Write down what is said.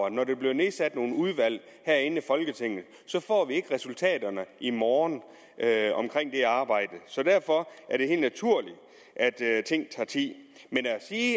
at når der bliver nedsat nogle udvalg herinde i folketinget får vi ikke resultaterne i morgen af det arbejde så derfor er det helt naturligt at ting tager tid men